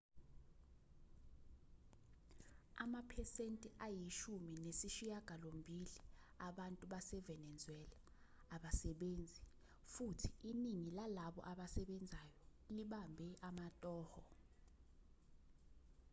amaphesenti ayishumi nesishiyagalombili abantu basevenezuela awasebenzi futhi iningi lalabo abasebenzayo libambe amatoho